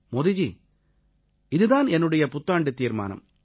மோதி ஜி இதுதான் என்னுடைய புத்தாண்டுத் தீர்மானம்